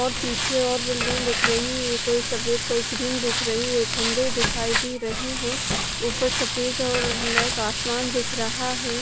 और पीछे और बिल्डिंग दिख रही है कोई सफेद कोई क्रीम देख रही है खंबे दिखाई दे रहे हैं ऊपर सफेद और ब्लैक आसमान दिख रहा है।